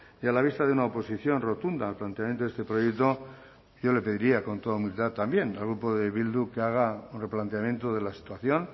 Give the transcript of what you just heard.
y a la vista de una oposición rotunda al planteamiento de este proyecto yo le pediría con toda humildad también al grupo de bildu que haga un replanteamiento de la situación